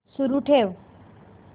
सुरू ठेव